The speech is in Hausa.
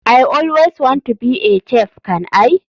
I always want to be a chef can i?